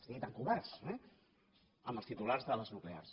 sí tan covards eh amb els titulars de les nuclears